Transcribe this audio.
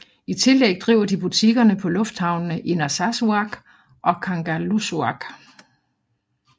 I tillæg driver de butikkerne på lufthavnene i Narsarsuaq og Kangerlussuaq